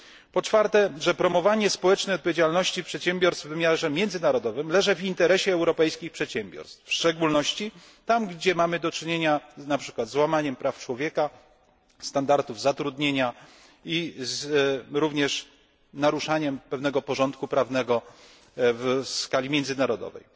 Po czwarte, promowanie społecznej odpowiedzialności przedsiębiorstw w wymiarze międzynarodowym leży w interesie europejskich przedsiębiorstw, w szczególności tam, gdzie mamy do czynienia na przykład z łamaniem praw człowieka, standardów zatrudnienia i również z naruszaniem pewnego porządku prawnego w skali międzynarodowej.